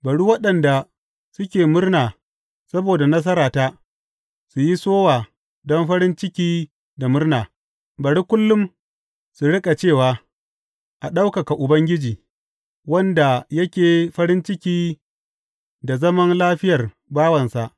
Bari waɗanda suke murna saboda nasarata su yi sowa don farin ciki da murna; bari kullum su riƙa cewa, A ɗaukaka Ubangiji, wanda yake farin ciki da zaman lafiyar bawansa.